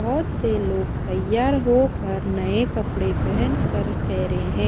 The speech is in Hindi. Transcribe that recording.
बहोत से लोग तैयार होकर नए कपड़े पहेन कर ठहरे हैं।